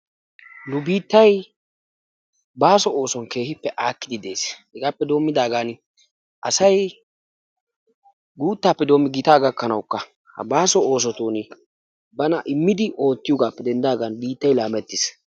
nu biittay baaso oossuwan keehippe aakkidi des, hegaappe denddidaagan asay guuttaappe biidi gitaa gakkanawukka ha baaso oosotun bana immidi oottiyoogaappe denddidaagan biittay laamettiis.